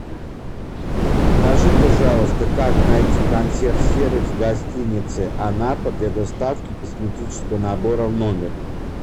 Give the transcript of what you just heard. скажи пожалуйста как найти консьерж сервис в гостинице анапа для доставки косметического набора в номер